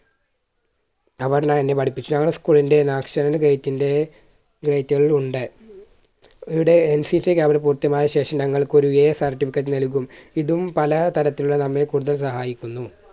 അതെല്ലാം എന്നെ പഠിപ്പിച്ചു ഞങ്ങളുടെ school ൻറെ national gate ന്റെ gate ഉണ്ട്. ഇവിടെ NCCcamp കൾ പൂർത്തിയായതിനുശേഷം ഞങ്ങൾക്ക് ഒരു certificate നൽകും. ഇതും പല തരത്തിലുള്ള നമ്മെ കൂടുതൽ സഹായിക്കുന്നു.